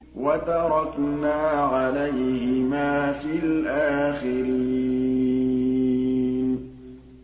وَتَرَكْنَا عَلَيْهِمَا فِي الْآخِرِينَ